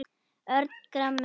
Örn gramur.